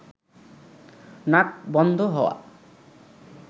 নাক বন্ধ হওয়া